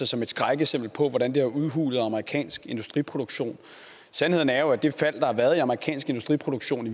som et skrækeksempel på hvordan den har udhulet amerikansk industriproduktion sandheden er jo at det fald der har været i amerikansk industriproduktion i